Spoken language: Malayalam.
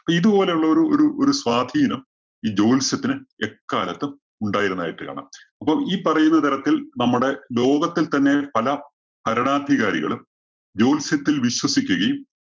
ഇപ്പോ ഇതുപോലെയുള്ളൊരു ഒരു ഒരു സ്വാധീനം ഈ ജ്യോത്സ്യത്തിന് എക്കാലത്തും ഉണ്ടായിരുന്നതായിട്ട് കാണാം. അപ്പം ഈ പറയുന്ന തരത്തില്‍ നമ്മുടെ ലോകത്തില്‍ തന്നെ പല ഭരണാധികാരികളും ജ്യോത്സ്യത്തില്‍ വിശ്വസിക്കുകയും,